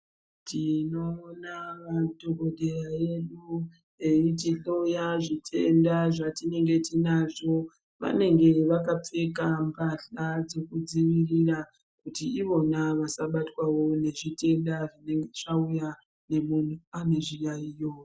Tinoona madhokodheya edu eitihloya zvitenda zvatinenge tinazvo vanenge vakapfeka mbahla dzekudzivirira kuti ivona vasabatwawo ngezvitenda zvinenge zvauya nekuti pane zviyayiyo.